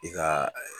I ka